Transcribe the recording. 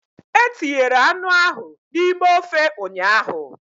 E tinyere anụ ahụ n'ime ofe ụnyaahụ